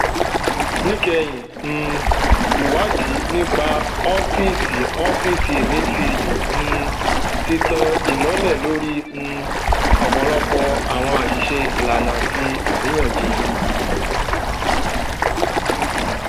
níkẹyìn um ìwádìí nípa ọfíìsì ọfíìsì emefiele um ti tan ìmọlẹ lórí um ọpọlọpọ àwọn àṣìṣe ìlànà àti àríyànjiyàn